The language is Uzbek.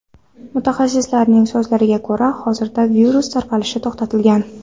Mutaxassislarning so‘zlariga ko‘ra, hozirda virus tarqalishi to‘xtatilgan.